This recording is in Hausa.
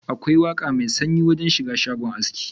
Akwai waka mai sanyi da na shiga shago aski.